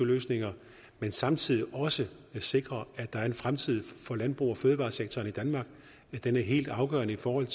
løsninger men samtidig også sikrer at der er en fremtid for landbrug og fødevaresektoren i danmark den er helt afgørende for